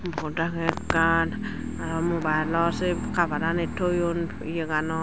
pod agey ekkan aro mobile or si cover ani toyun iye ganot.